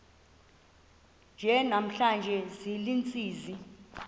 nje namhla ziintsizi